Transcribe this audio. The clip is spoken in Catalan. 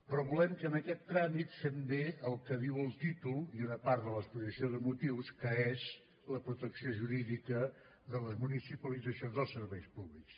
però volem que en aquest tràmit fem bé el que diu el títol i una part de l’exposició de motius que és la protecció jurídica de les municipalitzacions dels serveis públics